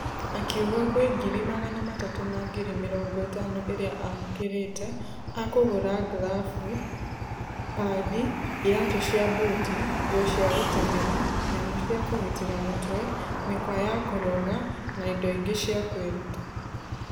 Akĩuga gwe ngiri magana matatũ na ngiri mĩrongo ĩtano iria amũkĩrete akũgũra glabu, padi, iratũ cia buti , nguo cia gũtengera , nyamũ cia kũgitera mũtwe , mĩkwa ya kũrũga na indo ingĩ cia kwĩruta.